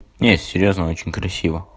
нет серьёзно очень красиво